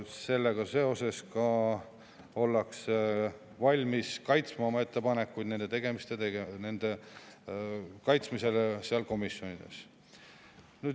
Seetõttu ollakse valmis komisjonides oma ettepanekuid kaitsma.